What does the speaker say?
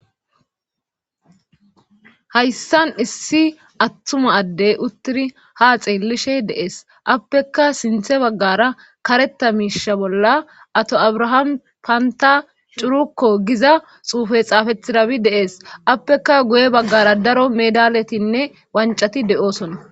hayssan issi attuma addey uttiri haa xeellishe de7es;appekka sinthe baggara karetta miishsha bolla ato abraham pantta curukko giza xuufe xaafettirabi de7ees;appekka guye baggara daro meedaaletinne wanccati de7oosona.